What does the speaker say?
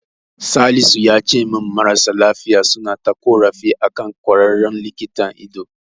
Salisu yace min marasa lafiya suna ta ƙorafi akan ƙwararren likitan ido.